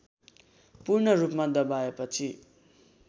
पूर्ण रूपमा दबाएपछि